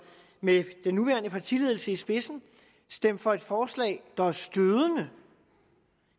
med den nuværende partiledelse i spidsen stemt for et forslag der er stødende